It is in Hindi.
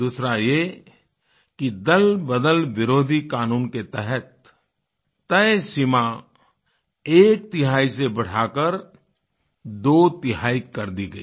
दूसरा ये कि दलबदल विरोधी क़ानून के तहत तय सीमा एकतिहाई से बढ़ाकर दोतिहाई कर दी गयी